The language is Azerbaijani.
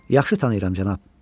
Yaxşı tanıyıram, cənab.